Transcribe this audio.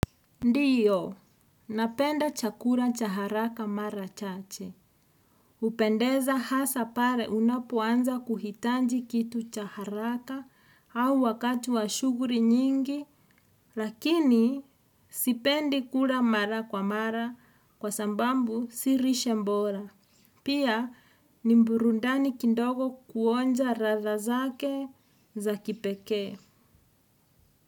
Ndiyo, napenda chakura chaharaka mara chache. Upendeza hasa pare unapoanza kuhitanji kitu cha haraka au wakatu wa shuguri nyingi, lakini sipendi kura mara kwa mara kwa sambambu si rishe mbora. Pia ni mburundani kindogo kuonja radha zake za kipekee.